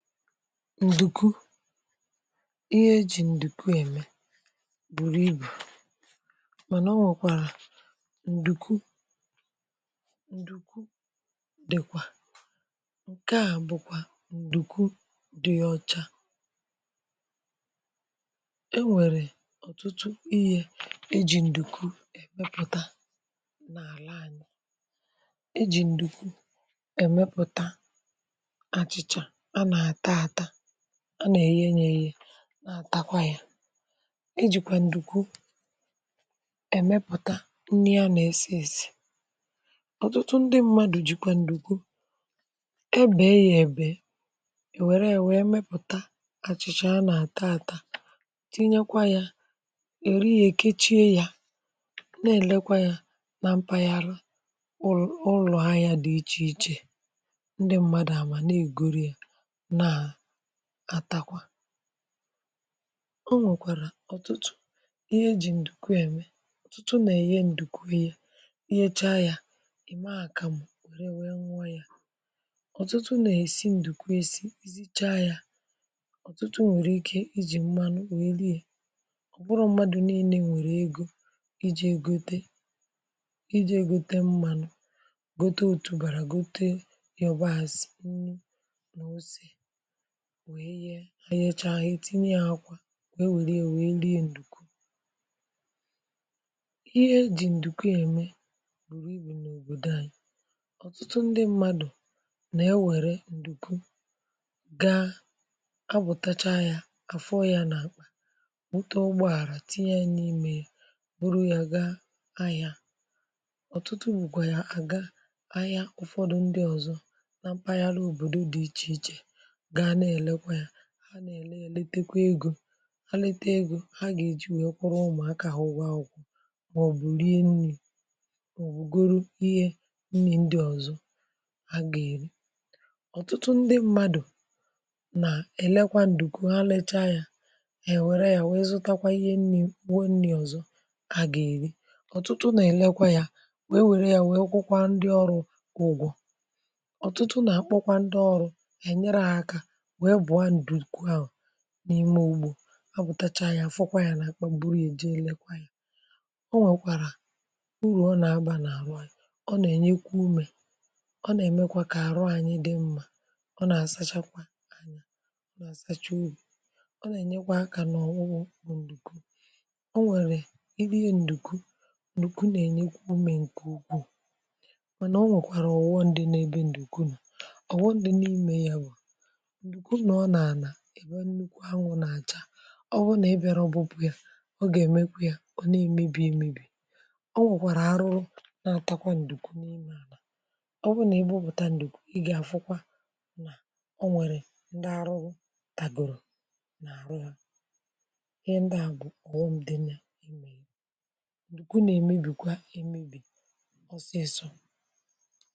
Ǹdùkwu… ihe ejì ǹdùkwu ème bụ̀rù ibù. Mànà ọ nwèkwàrà ǹdùkwu ǹdùkwu dị̇kwà. um Ǹke à bụ̀kwà ǹdùkwu dị̇ ọcha. E nwèrè ọ̀tụtụ ihe ejì ǹdùkwu èmepụ̀ta n’àla ànyị̇. Ejì ǹdùkwu èmepụ̀ta ànà èye, yè ihe nà-àtakwa yà. Ị hụ̇. A jìkwà ǹdùkwu èmepụ̀ta nni̇, ànà èsi, èsi̇. Ọ̀tụtụ ndị mmadù jìkwà ǹdùkwu. Ebèe yì um Ànà e wèrè, èwee mepùta àchị̀chị̀ a. A nà àta, àta, tinyekwa yà, èri ya. È kechie yà, na-èlekwa yà, na mpaghara ụlụ̀ ụlọ̀ ha dị iche iche. Ọ nwekwàrà ọtụtụ ihe ejì ǹdùkwu ème. Ọ̀tụtụ nà-èye ǹdùkwu ya, ìmecha ya. Ì ma à? Kamù wèrè wee nwa ya. Ọ̀tụtụ nà-èsi ǹdùkwu esi, izicha ya. Ọ̀tụtụ nwèrè ike iji̇ mmànụ̀… ò wèreli, ọ̀ bụrụ̀. Mmàdụ̀ nìlè nwèrè egò iji̇ egote, iji̇ ègote mmànụ̀. Gote òtùbàrà, gote ya, ọbazị nni. Wee yehė ahịa, eche ahịa, itinye yà, um akwà. Wee wèrè, wee lee ǹdùkwu. Ihe e jì ǹdùkwu ème bụ̀rù ibù n’òbòdò anyị̇. Ọ̀tụtụ ndị mmadụ̀ nà-ewèrè ǹdùkwu gaa àbụ̀tacha yà afọ ya. Nà bụta ụgbọ àrà, tinye yà n’ime yà bụrụ, yà gaa ahịa. Ọ̀tụtụ bụ̀kwà, yà àga ahịa... Ụ̀fọdụ ndị ọ̀zọ nà mpaghara um òbòdo dị iche iche ha na-ele, èlekekwa egò ha. Ha lete egò ha, gà-èji wee kwa, umùakà ahụ̇ ụ̀wa akwụkwọ̀. Mà ọ̀ bụ̀ rie nni̇, bụ̀ goro ihe nni̇. Ndị ọ̀zọ ha gà-èri. Ọ̀tụtụ ndị mmadụ̀ nà-elekwa ǹdùkwu, ha lecha yà, èwèrè ya, wee zùtakwa ihe nni̇. Bụ̀ọ nni̇ ọ̀zọ ha gà-èri. Ọ̀tụtụ nà-elekwa yà, wee wèrè ya, wee kwùkwa ndị ọrụ̇, ụgwọ̇. Ọ̀tụtụ nà-akpọkwa ndị ọrụ̇ n’ime ugbò… àpụtacha ya, um fòkwa ya, n’akpọ̀, buru ya, jee lèkwa ya. Ọ nwèkwàrà urù ọ nà-agbà n’amȧ. Ọ nà-ènyekwa ùmè, ọ nà-èmekwa kà àrụ̀ anyị dị mmȧ. Ọ nà-àsachakwa anya, ọ nà-àsacha obì. Ọ nà-ènyekwa akà, n’ọ̀nwụọ, ọ̀ n’ùkwu. O nwèrè ìdị ìhe ǹdùkwu. Ǹdùkwu nà-ènyekwa ùmè ǹkè ugwuù. Mànà, um, o nwèkwàrà ọ̀ghọṅdɪ n’ebe ǹdùkwu nà. Ọ̀ghọṅdɪ n’ime ya bụ̀, ịnọ̀, ọ nà-àná ebe nnukwu ànwụ̇ nà-achà. (um)Ọ bụ̀ nà-ebìara ọbụbụ yà… ọ gà-èmekwa yà, ọ nà-èmébì, emébì. Ọ nwèkwàrà arụrụ, nà-atakwa ǹdùkwu n’ime àlà. Ọ bụ̀ nà ebe ụ̀bụ̀ta ǹdùkwu, ị gà-àfụkwa nà o nwèrè ndị arụrụ tàgòrò n’àrụ yà. Ihe ndị à bụ̀ ọ̀hụmdị̇nyȧ ì mà Ǹdùkwu nà-èmébì, kwa um emébì, ọsịsọ.